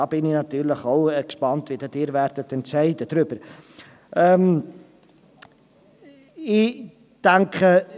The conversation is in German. Da bin ich natürlich auch gespannt, wie Sie darüber befinden werden.